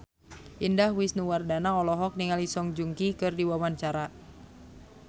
Indah Wisnuwardana olohok ningali Song Joong Ki keur diwawancara